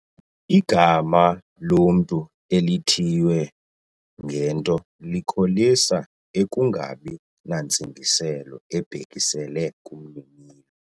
Igama lomntu elithiywe ngento likholisa ukungabi nantsingiselo ibhekiselele kumninilo.